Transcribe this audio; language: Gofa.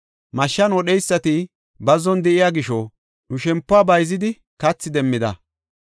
Mashshan wodheysati bazzon de7iya gisho, nu shempuwa bayzidi kathi demmida.